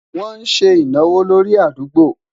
wón sé ìnáwó lórí àdúgbo